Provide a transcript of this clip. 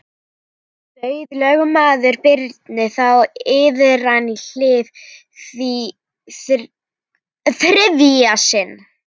Bauð lögmaður Birni þá iðran í hið þriðja sinn.